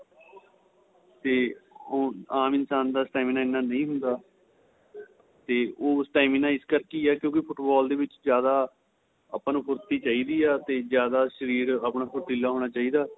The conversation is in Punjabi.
ਤੇ ਉਹ ਆਂਮ ਇਨਸ਼ਾਨ ਦਾ stamina ਇੰਨਾ ਨਹੀਂ ਹੁੰਦਾ ਤੇ ਉਹ stamina ਇਸ ਕਰਕੇ ਏਹ ਕਿਉਂਕਿ ਫੁੱਟਬਾਲ ਦੇ ਵਿੱਚ ਜਿਆਦਾ ਆਪਾ ਨੂੰ ਫੁਰਤੀ ਚਾਹੀਦੀ ਏ ਤੇ ਜਿਆਦਾ ਸ਼ਰੀਰ ਆਪਣਾ ਫੁਰਤੀਲਾ ਹੋਣਾ ਚਾਹੀਦਾ